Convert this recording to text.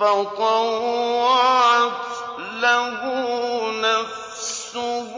فَطَوَّعَتْ لَهُ نَفْسُهُ